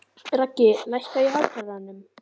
Raggi, lækkaðu í hátalaranum.